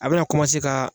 A bɛna ka